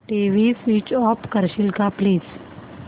TV switch off करशील का please